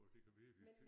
Åh det kan virkelig